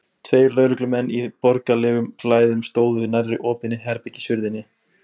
Tveir lögreglumenn í borgaralegum klæðum stóðu nærri opinni herbergishurðinni.